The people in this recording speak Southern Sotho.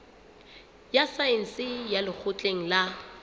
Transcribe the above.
ya saense ya lekgotleng la